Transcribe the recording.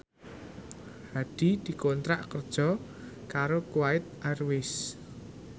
Hadi dikontrak kerja karo Kuwait Airways